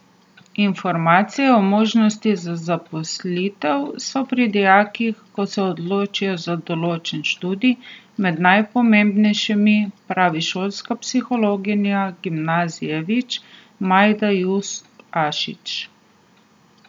Informacije o možnosti za zaposlitev so pri dijakih, ko se odločajo za določen študij, med najpomembnejšimi, pravi šolska psihologinja gimnazije Vič Majda Jus Ašič.